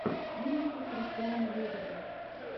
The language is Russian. музыка кристиана лебедева